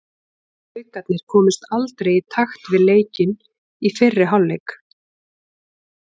Haukarnir komust aldrei í takt við leikinn í fyrri hálfleik.